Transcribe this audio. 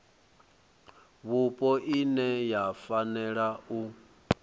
vhupo ine ya fanela u